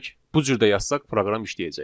Bu cür də yazsaq proqram işləyəcək.